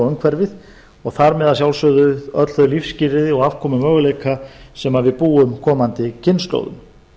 umhverfið og þar með að sjálfsögðu öll þau lífsskilyrði og afkomumöguleika sem við búum komandi kynslóðum